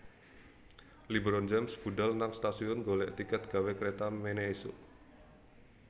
LeBron James budhal nang stasiun golek tiket gawe kreta mene isuk